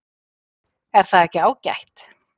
Er það ekki ágætt?